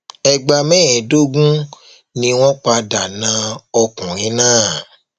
ẹgbà mẹẹẹdógún ni wọn padà na ọkùnrin náà